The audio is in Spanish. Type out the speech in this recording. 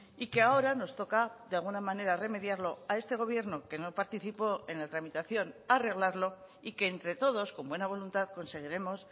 y que ahora nos toca de alguna manera remediarlo a este gobierno que no participó en la tramitación arreglarlo y que entre todos con buena voluntad conseguiremos